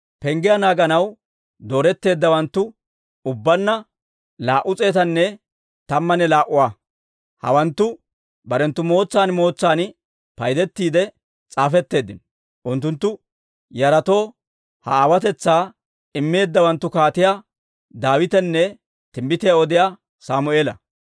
Penggiyaa naaganaw dooretteeddawanttu ubbaanna laa"u s'eetanne tammanne laa"uwaa; hawanttu barenttu mootsan mootsan paydettiide s'aafetteeddino. Unttunttu yaratoo ha aawotetsaa immeeddawanttu Kaatiyaa Daawitanne timbbitiyaa odiyaa Sammeela.